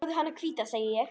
Hafðu hana hvíta, segi ég.